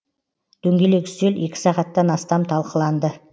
дөңгелек үстел екі сағаттан астам талқыланды